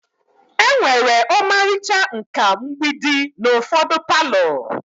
Enwere ọmarịcha nkà mgbidi n'ufodi palo.